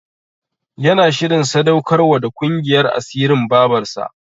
Yana shirin sadaukar wa da ƙungiyar asirin Babarsa.